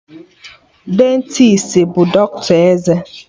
Dentisti bụ dọkịta eze